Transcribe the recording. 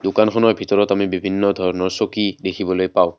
দোকানখনৰ ভিতৰত আমি বিভিন্ন ধৰণৰ চকী দেখিবলৈ পাওঁ।